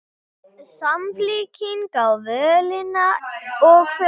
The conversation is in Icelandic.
Samfylkingin á völina og kvölina